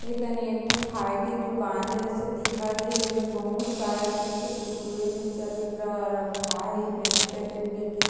एकने एकठी खाय की दुकान जैसे दिखत हे जिमे बहोत सारा चिप्स कुरकुरॆ मिक्चर वगैरह रखा हे मैगी पैकेट भी ठी--